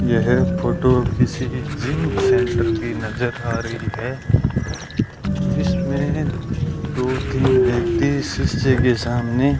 यह फोटो किसी gym centre की नजर आ रही है जिसमें दो तीन व्यक्ति शीशे के सामने--